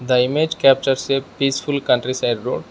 The image captures peaceful country side road.